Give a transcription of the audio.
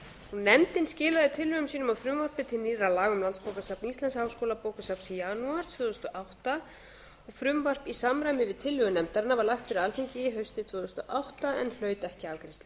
nefndin skilaði tillögum sínum að frumvarpi til nýrra laga um landsbókasafn íslands háskólabókasafn í janúar tvö þúsund og átta og frumvarp í samræmi við tillögur nefndarinnar var lagt fyrir alþingi haustið tvö þúsund og átta en hlaut ekki afgreiðslu